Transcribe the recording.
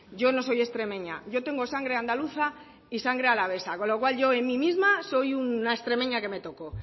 yo no soy extremeña yo tengo sangre andaluza y sangre alavesa con lo cual yo en mí misma soy una extremeña que me toco o